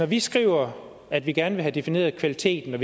vi skriver at vi gerne vil have defineret kvaliteten og